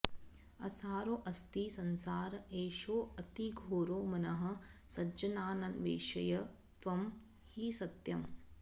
असारोऽस्ति संसार एषोऽतिघोरो मनः सज्जनान्वेषय त्वं हि सत्यम्